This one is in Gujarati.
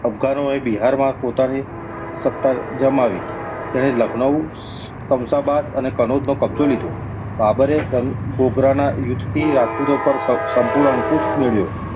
અફધાનોએ બિહારમાં પોતાનો સત્તા જમાવી. તેણે લાખનૌ , શમ્સબાદ અને કનોજ નો કબ્જો લીધો. બાબરે ગમ~ગોગરાના યુદ્ધ થી રાજપૂતો પાર સમ~સંપૂર્ણ અંકુશ મેળવ્યો.